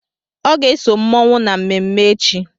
Ọ ga-eso mmụọnwụ na mmemme echi.